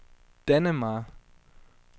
Dannemare